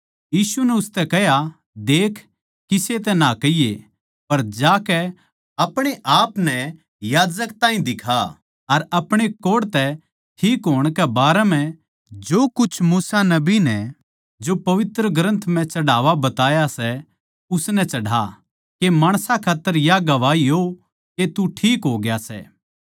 यीशु नै उसतै कह्या देख किसे तै ना कहिये पर जाकै अपणे आपनै याजक ताहीं दिखा अर अपणे कोढ़ तै ठीक होण कै बारै म्ह जो कुछ मूसा नबी नै जो पवित्र ग्रन्थ म्ह चढ़ावा बताया सै उसनै चढ़ा के माणसां खात्तर या गवाही हो के तू ठीक होग्या सै